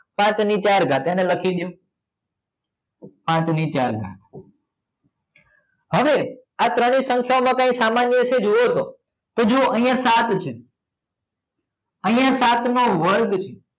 પાંચની ચાર ઘાત એને લખી દો પાંચની ચાર ઘાત હવે આ ત્રણેય સંખ્યામાં કોઈ સામાન્ય છે જુઓ તો જુઓ અહીંયા સાત છે અહીંયા પાંચનો વર્ગ છે